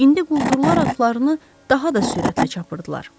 İndi quldurlar atlarını daha da sürətlə çapırdılar.